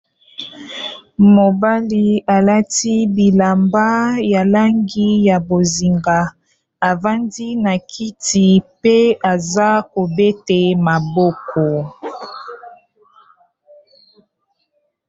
mobali alati bilamba ya langi ya bozinga avandi na kiti mpe aza kobete maboko.